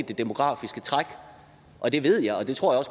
det demografiske træk og det ved jeg og det tror jeg